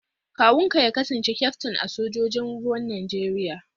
Kawunka ya kasance kyaftin a sojojin ruwan Najeriya?